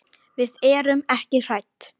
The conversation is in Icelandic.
Við erum ekki hrædd.